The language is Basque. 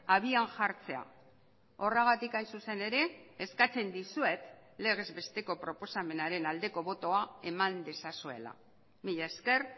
abian jartzea horregatik hain zuzen ere eskatzen dizuet legez besteko proposamenaren aldeko botoa eman dezazuela mila esker